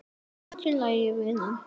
Allt í lagi, vinur.